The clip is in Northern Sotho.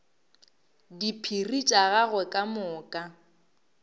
diphiri tša gagwe ka moka